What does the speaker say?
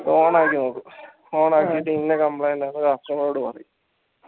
on ആക്കി നോക്കും on ആക്കിട്ട് ഇന്ന complaint ആണെന്ന് customer ഓട് പറയും